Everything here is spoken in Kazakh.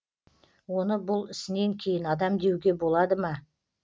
оны бұл ісінен кейін адам деуге болады ма